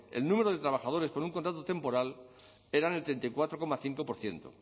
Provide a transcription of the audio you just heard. el número de trabajadores con un contrato temporal era del treinta y cuatro coma cinco por ciento